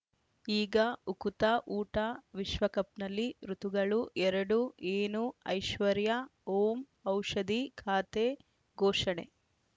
ಈಗ ಉಕುತ ಊಟ ವಿಶ್ವಕಪ್‌ನಲ್ಲಿ ಋತುಗಳು ಎರಡು ಏನು ಐಶ್ವರ್ಯಾ ಓಂ ಔಷಧಿ ಖಾತೆ ಘೋಷಣೆ